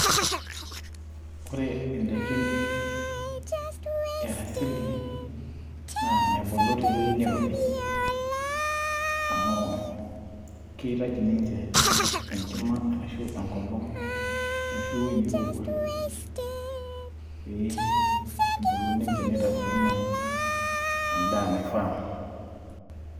Ore indaikin e asili naa mebulu tewueji nairobi amu keitaji ninche enkima ashuu enkolong ashuu ewueji nairowua pee ebulu ninche neitayu endaa naifaa .